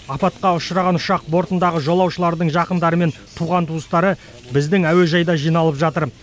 апатқа ұшыраған ұшақ бортындағы жолаушылардың жақындары мен туған туыстары біздің әуежайда жиналып жатыр